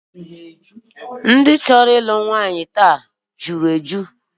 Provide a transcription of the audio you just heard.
Ndị chọrọ ịlụ nwaanyị nke taa nke echi jụrụ eju